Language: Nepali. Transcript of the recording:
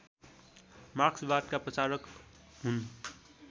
मार्क्सवादका प्रचारक हुन्